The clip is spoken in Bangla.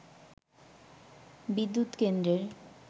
বিদ্যুৎ কেন্দ্রের